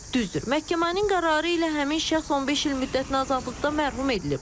Düzdür, məhkəmənin qərarı ilə həmin şəxs 15 il müddətinə azadlıqdan məhrum edilib.